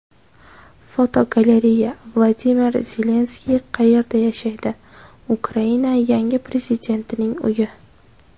Fotogalereya: Vladimir Zelenskiy qayerda yashaydi Ukraina yangi prezidentining uyi.